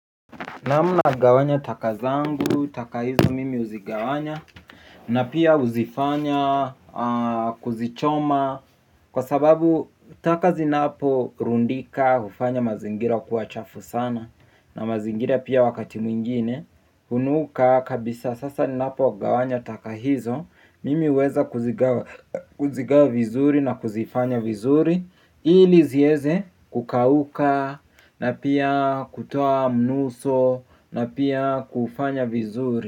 Naam nagawanya takazangu, takahizo mimi huzigawanya. Na pia huzifanya kuzichoma. Kwa sababu taka zinapo rundika hufanya mazingira kuwa chafu sana. Na mazingira pia wakati mwingine hunuka kabisa sasa ni napogawanya taka hizo. Mimi huweza kuzigawa vizuri na kuzifanya vizuri. Ili ziweze kukauka na pia kutoa mnuso na pia kufanya vizuri.